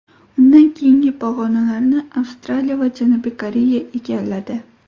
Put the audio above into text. Undan keyingi pog‘onalarni Avstraliya va Janubiy Koreya egalladi.